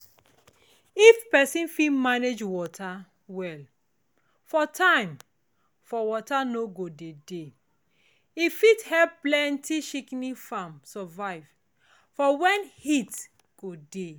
if pesin fit manage water well for time for water no go dey dey e fit help plenti shikini farm survive for when heat go dey